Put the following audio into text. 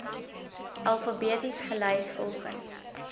alfabeties gelys volgens